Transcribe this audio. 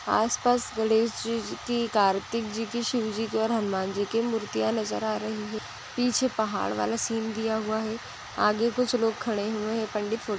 आस पास गणेश जी की कार्तिक जी की शिव जी की और हनुमान जी की मूर्तिया नजर आ रही है। पीछे पहाड़ वाला सीन दिया हुआ है आगे कुछ लोग खड़े हुए है। पंडित फोटो --